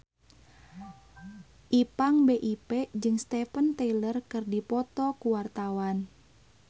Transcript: Ipank BIP jeung Steven Tyler keur dipoto ku wartawan